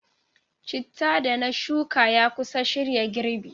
Chittah da na shuka ya kusa shirya girbi.